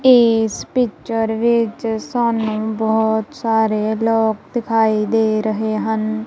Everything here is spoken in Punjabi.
ਏਸ ਪਿੱਕਰ ਵਿੱਚ ਸਾਨੂੰ ਬਹੁਤ ਸਾਰੇ ਲੋਕ ਦਿਖਾਏ ਦੇ ਰਹੇ ਹਨ।